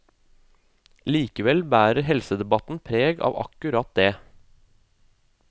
Likevel bærer helsedebatten preg av akkurat det.